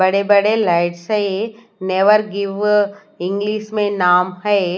बड़े बड़े लाइट्स है नेवर गिव इंग्लिश में नाम है।